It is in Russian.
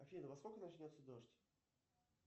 афина во сколько начнется дождь